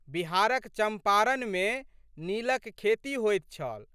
बिहारक चम्पारणमे नीलक खेती होइत छल।